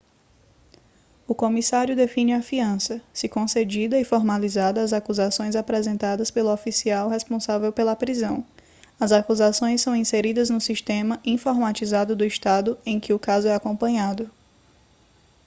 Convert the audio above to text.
o comissário define a fiança se concedida e formaliza as acusações apresentadas pelo oficial responsável pela prisão as acusações são inseridas no sistema informatizado do estado em que o caso é acompanhado